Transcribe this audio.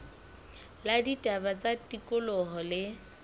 la ditaba tsa tikoloho le